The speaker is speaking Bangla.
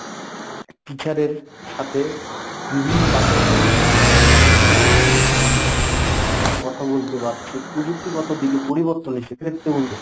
teacher এর সাথে বিভিন্ন বাচনভঙ্গিতে কথা বলতে পারছে, প্রযুক্তিগত দিকে পরিবর্তন এসে